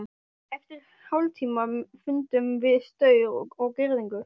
Eftir hálftíma fundum við staur og girðingu.